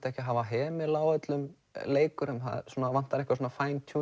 ekki að hafa hemil á öllum leikurum það vantar eitthvað svona